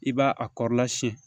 I b'a a kɔrɔla siyɛn